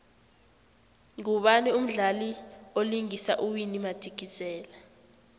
ngubani umdlali vlingisa uwinnie madikizela